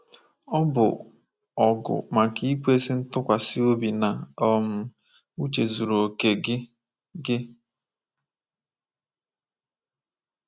“Ọ bụ ọgụ maka ikwesị ntụkwasị obi na um uche zuru okè gị. gị.